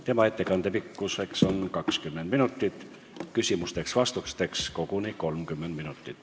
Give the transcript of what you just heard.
Tema ettekande pikkus on 20 minutit, küsimusteks-vastusteks on aega koguni kuni 30 minutit.